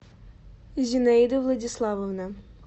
зинаида владиславовна